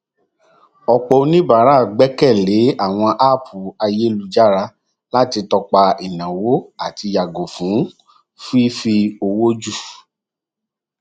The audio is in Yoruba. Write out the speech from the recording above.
ọpọ oníbàárà gbẹkẹ lé àwọn app ayélujára láti tọpa ináwó àti yàgò fún fífi owó jù